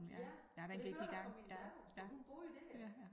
Ja det hørte jeg fra min datter for hun bor jo dér